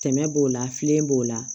Tɛmɛ b'o la filen b'o la